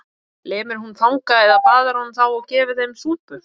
Lemur hún fanga eða baðar hún þá og gefur þeim súpu?